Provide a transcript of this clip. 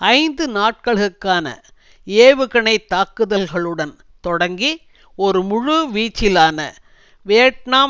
ஐந்து நாட்களுக்கான ஏவுகணை தாக்குதல்களுடன் தொடங்கி ஒரு முழு வீச்சிலான வியட்நாம்